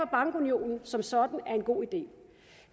bankunionen som sådan er en god idé